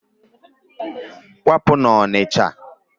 Kwapụ n'Ọnịcha!